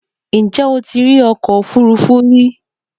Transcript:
Ǹjẹ́ o ti rí ọkọ òfúrufú rí?